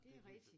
Det rigtig